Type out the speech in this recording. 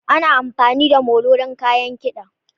Ana amfani da molo don kayan kiɗa.